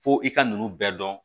Fo i ka nunnu bɛɛ dɔn